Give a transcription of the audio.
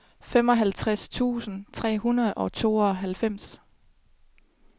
femoghalvtreds tusind tre hundrede og tooghalvfems